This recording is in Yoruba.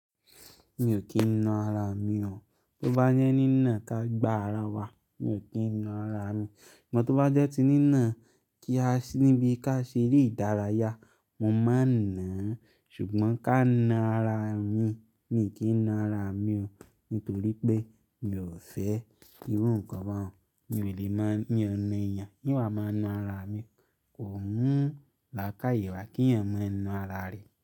Mi ò kí n na ara mi o. Tí ó bá nínà ká gba ara wa, mi ò kí n na ara mi. Amọ̀ tó bá jẹ́ ti nínà kí a níbi ká ṣe eré ìdárayá, mo máa n náà. Ṣùgbọ́n ká na ara mi, mi ò kí n na ara mi o nítorí pé mi ò fẹ́ irú nǹkan bẹ́ẹ̀. Mi ò lè má, mi o na èèyàn, n wàá máa na ara mi. Kò mú lákàyè wá kí eeyan mọ náà ara rẹ̀